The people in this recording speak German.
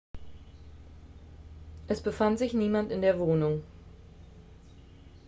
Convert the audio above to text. es befand sich niemand in der wohnung